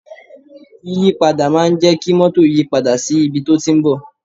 Yíyí padà máa ń jẹ kí mótò yìí padà sí ibi tí ó ti ń bọ̀